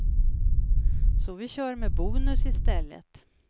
Så vi kör med bonus i stället.